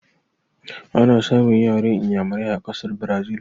Ana samun yaran Inyamurai a ƙasar Brazil